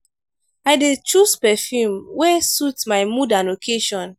i dey choose perfume wey suit my mood and occasion.